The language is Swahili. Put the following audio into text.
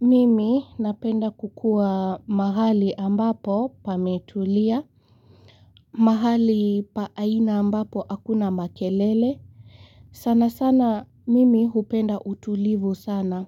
Mimi napenda kukua mahali ambapo pametulia, mahali pa aina ambapo hakuna makelele. Sana sana mimi hupenda utulivu sana.